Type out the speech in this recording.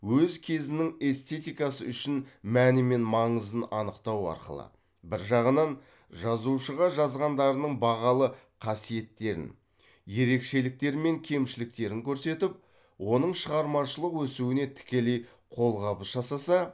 өз кезінің эстетикасы үшін мәні мен маңызын анықтау арқылы бір жағынан жазушыға жазғандарының бағалы қасиеттерін ерекшеліктері мен кемшіліктерін көрсетіп оның шығармашылық өсуіне тікелей қолқабыс жасаса